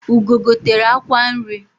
Ugo gotere akwa nri